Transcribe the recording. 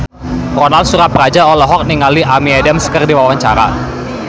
Ronal Surapradja olohok ningali Amy Adams keur diwawancara